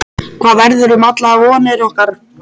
Hvað verður um allar vonir okkar?